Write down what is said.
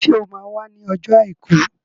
Ṣé o máa wá ní ọjọ́ Àìkú?